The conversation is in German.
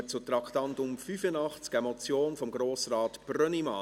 Wir kommen zum Traktandum 85, einer Motion von Grossrat Brönnimann: